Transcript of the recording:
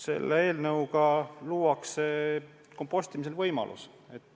Selle eelnõuga luuakse kompostimise võimalus.